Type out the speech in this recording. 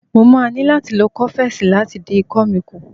Mo máa ní láti lo kọ́fẹ́sì láti dín ikọ́ mi kù.